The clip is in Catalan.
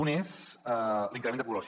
un és l’increment de població